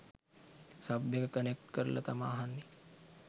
Sub එක connect කරල තමා අහන්නෙ.